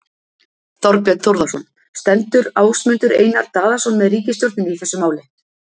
Þorbjörn Þórðarson: Stendur Ásmundur Einar Daðason með ríkisstjórninni í þessu máli?